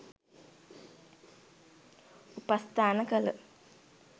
උපස්ථාන කළ